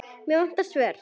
Mig vantar svör.